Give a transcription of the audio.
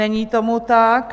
Není tomu tak.